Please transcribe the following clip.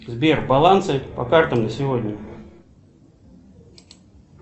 сбер балансы по картам на сегодня